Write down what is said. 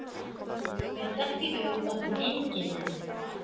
Mér datt í hug orðið eingetinn.